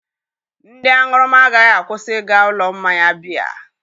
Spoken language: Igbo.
Ndị aṅụrụma agaghị akwụsị ịga ụlọ mmanya biya